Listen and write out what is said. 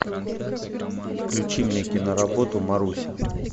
включи мне киноработу маруся